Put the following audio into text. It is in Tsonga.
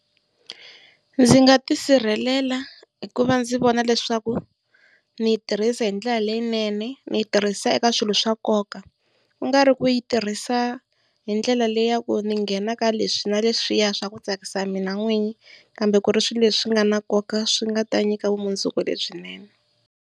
Ndzi nga tisirhelela hikuva ndzi vona leswaku ni yi tirhisa hindlela leyinene, ndzi yi tirhisa eka swilo swa nkoka. Ku nga ri ku yi tirhisa hi ndlela leyi ya ku ndzi nghena ka leswi na leswiya swa ku tsakisa mina n'winyi, kambe ku ri swileswi nga na nkoka swi nga ta ndzi nyika vumundzuku lebyinene.